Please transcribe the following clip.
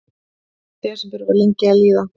Desember var lengi að líða.